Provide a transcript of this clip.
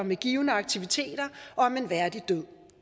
med givende aktiviteter og om en værdig død